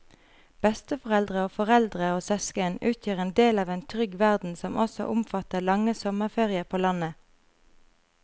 Besteforeldre og foreldre og søsken utgjør en del av en trygg verden som også omfatter lange sommerferier på landet.